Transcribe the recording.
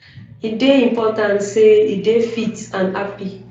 e dey important say e dey fit and happy